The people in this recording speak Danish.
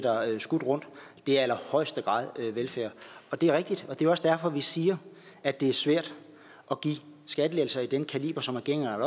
skudt rundt i allerhøjeste grad velfærd det er rigtigt og det er også derfor vi siger at det er svært at give skattelettelser af den kaliber som regeringen har